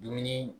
Dumuni